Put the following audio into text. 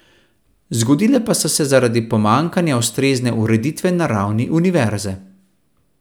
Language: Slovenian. Zgodile pa so se zaradi pomanjkanja ustrezne ureditve na ravni univerze.